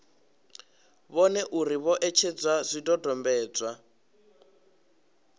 vhone uri vho etshedza zwidodombedzwa